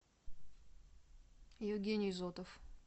евгений зотов